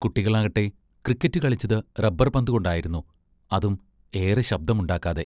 കുട്ടികളാകട്ടെ, cricket കളിച്ചത്‌ rubber പന്തുകൊണ്ടായിരുന്നു, അതും ഏറെ ശബ്ദമുണ്ടാക്കാതെ.